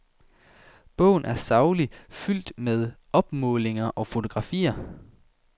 Bogen er saglig, fuldt med opmålinger og fotografier.